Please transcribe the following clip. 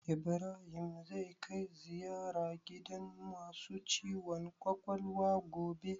Ibrahim zai kai ziyara gidan masu ciwon kwakwalwa gobe?